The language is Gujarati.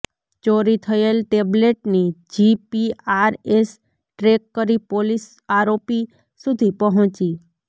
ચોરી થયેલ ટેબ્લેટની જીપીઆરએસ ટ્રેક કરી પોલીસ આરોપી સુધી પહોંચી